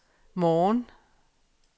morgen